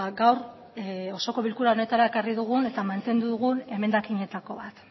gaur osoko bilkura honetara ekarri dugun eta mantendu dugun emendakinetako bat